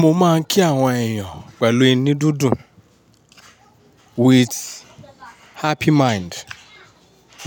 Mo máa ń kí àwọn èèyàn pẹ̀lú inú dídùn. With happy mind.